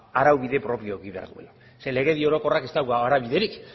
araubide propioa eduki behar duela zeren legedi orokorrak ez dauka araubiderik